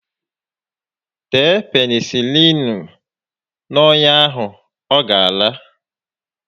Tee Penịsịlịịnu n'ọnya ahụ, ọ gá ala